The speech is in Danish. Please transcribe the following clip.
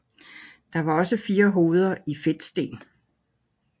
Der var også fire hoveder i fedtsten